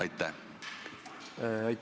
Aitäh!